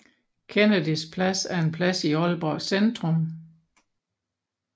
Kennydys Plads er en plads i Aalborg Centrum